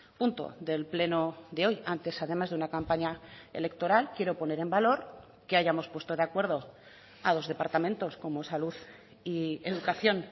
punto del pleno de hoy antes además de una campaña electoral quiero poner en valor que hayamos puesto de acuerdo a dos departamentos como salud y educación